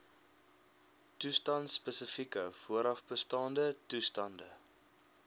toestandspesifieke voorafbestaande toestande